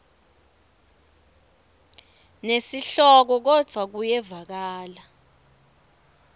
nesihloko kodvwa kuyevakala